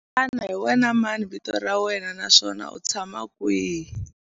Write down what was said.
Xana hi wena mani vito ra wena naswona u tshama kwihi?